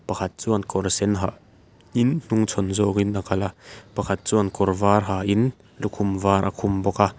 pakhat chuan kawr sen ha in hnungchhawn zawngin a kal a pakhat chuan kawr var ha in lukhum var a ha bawk a--